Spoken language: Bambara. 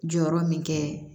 Jɔyɔrɔ min kɛ